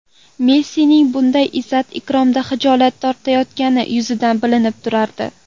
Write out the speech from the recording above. Messining bunday izzat-ikromdan xijolat tortayotgani yuzidan bilinib turardi.